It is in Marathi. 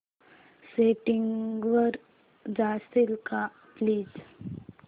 सेटिंग्स वर जाशील का प्लीज